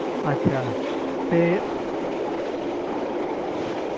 ਅੱਛਾ ਤੇ